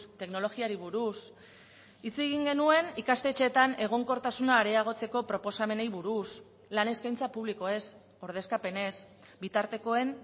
teknologiari buruz hitz egin genuen ikastetxeetan egonkortasuna areagotzeko proposamenei buruz lan eskaintza publikoez ordezkapenez bitartekoen